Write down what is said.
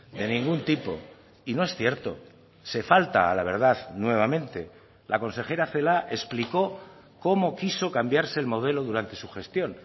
de ningún tipo y no es cierto se falta a la verdad nuevamente la consejera celaá explicó cómo quiso cambiarse el modelo durante su gestión